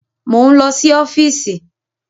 Mo ń lọ sí ọ́fíìsì